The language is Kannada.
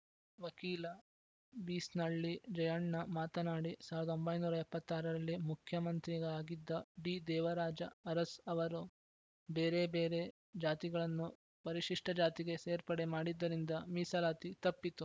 ವಕೀಲ ಬೀಸ್ನಳ್ಳಿ ಜಯಣ್ಣ ಮಾತನಾಡಿ ಸಾವಿರದ ಒಂಬೈನೂರ ಎಪ್ಪತ್ತ್ ಆರು ರಲ್ಲಿ ಮುಖ್ಯಮಂತ್ರಿಯಾಗಿದ್ದ ಡಿದೇವರಾಜ ಅರಸ್‌ ಅವರು ಬೇರೆ ಬೇರೆ ಜಾತಿಗಳನ್ನು ಪರಿಶಿಷ್ಟಜಾತಿಗೆ ಸೇರ್ಪಡೆ ಮಾಡಿದ್ದರಿಂದ ಮೀಸಲಾತಿ ತಪ್ಪಿತು